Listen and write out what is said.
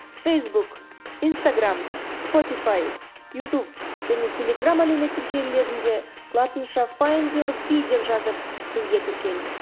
фейсбук инстаграмм спотифай ютуб және телеграм әлеуметтік желілерінде латынша файндюрби деп жазып бізге тіркел